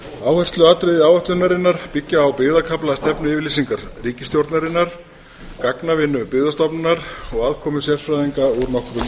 áhersluatriði áætlunarinnar byggja á byggðakafla stefnuyfirlýsingar ríkisstjórnarinnar gagnavinnu byggðastofnunar og aðkomu sérfræðinga úr nokkrum ráðuneytum samráð var haft við stýrinet